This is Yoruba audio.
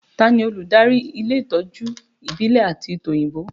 Ta ni olùdarí ilé ìtọ́jú ìbílẹ̀ àti tòyìnbó?